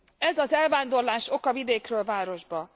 Ez az elvándorlás oka vidékről városba.